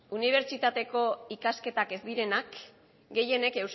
unibertsitateko ikasketak ez direnak gehienek